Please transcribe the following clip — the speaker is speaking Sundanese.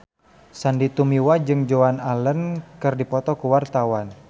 Sandy Tumiwa jeung Joan Allen keur dipoto ku wartawan